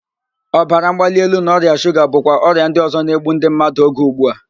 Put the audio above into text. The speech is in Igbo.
Ọbara mgbali elu na ọrịa shuga bụkwa ọrịa ndị ọzọ na-egbu ndị mmadụ oge ugbu a